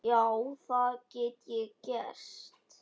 Já, það get ég gert.